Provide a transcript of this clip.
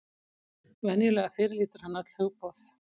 Venjulega fyrirlítur hann öll hugboð.